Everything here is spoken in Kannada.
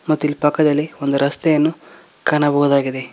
ಮತ್ತಿಲ್ಲಿ ಪಕ್ಕದಲ್ಲಿ ಒಂದು ರಸ್ತೆಯನ್ನು ಕಾಣಬಹುದಾಗಿದೆ.